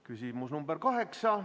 Küsimus number 8.